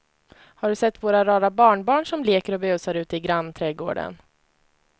Har du sett våra rara barnbarn som leker och busar ute i grannträdgården!